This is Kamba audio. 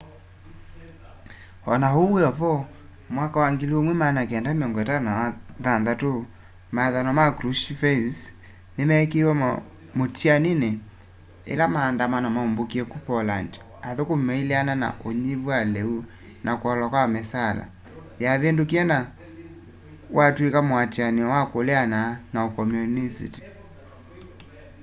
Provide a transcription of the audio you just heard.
ona uu wiovo mwaka wa 1956 mawatho ma krushchevs nimeekiiwe mutianini yila maandamano maumbukie ku poland athukumi maileana na unyivu wa liu na kuolwa kwa misaala yavindukie na watw'ika muatianio wa kuleana na ukomyunisiti